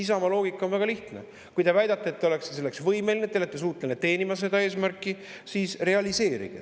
Isamaa loogika on väga lihtne: kui te väidate, et te olete selleks võimeline, te olete suuteline teenima seda eesmärki, siis realiseerige see.